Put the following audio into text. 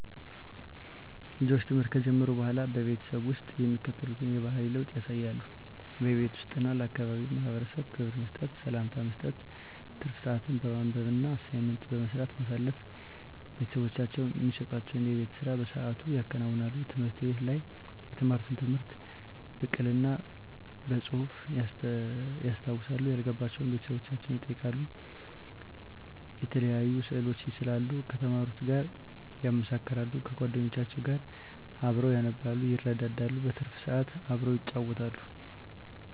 ልጆች ትምህርት ከጀመሩ በሆላ በቤተሰብ ውስጥ የሚከተሉትን የባህሪ ለውጥ ያሳያሉ:-በቤት ውስጥ እና ለአካባቢው ማህበረሰብ ክብር መስጠት፤ ሰላምታ መስጠት፤ ትርፍ ስአትን በማንበብ እና አሳይመንት በመስራት ማሳለፍ፤ ቤተሰቦቻቸው እሚሰጡዋቸውን የቤት ስራ በስአቱ ያከናውናሉ፤ ትምህርት ቤት ላይ የተማሩትን ትምህርት ብቅል እና በጹህፍ ያስታውሳሉ፤ ያልገባቸውን ቤተሰቦቻቸውን ይጠይቃሉ፤ የተለያዩ ስእሎችን ይስላሉ ከተማሩት ጋር ያመሳክራሉ፤ ከጎደኞቻቸው ጋር አብረው ያነባሉ ይረዳዳሉ። በትርፍ ስአት አብረው ይጫወታሉ።